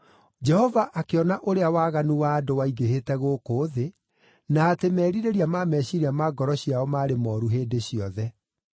Jehova akĩona ũrĩa waganu wa andũ waingĩhĩte gũkũ thĩ, na atĩ merirĩria ma meciiria ma ngoro ciao maarĩ mooru hĩndĩ ciothe.